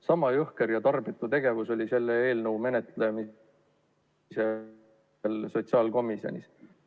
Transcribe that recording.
Sama jõhker ja tarbetu tegevus käis selle eelnõu menetlemisel sotsiaalkomisjonis.